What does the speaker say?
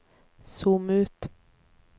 zoom ut